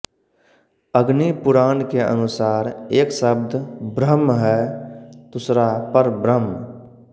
अग्निपुराण के अनुसार एक शब्दब्रह्म है दूसरा परब्रह्म